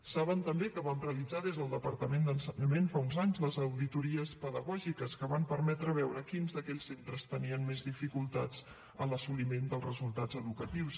saben també que vam realitzar des del departament d’ensenyament fa uns anys les auditories pedagògiques que van permetre veure quins d’aquells centres tenien més dificultats en l’assoliment dels resultats educatius